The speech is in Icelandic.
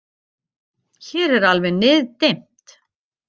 Hér alveg niðdimmt